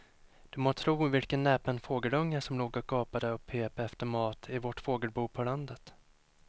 Du må tro vilken näpen fågelunge som låg och gapade och pep efter mat i vårt fågelbo på landet.